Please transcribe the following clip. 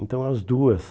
Então, as duas...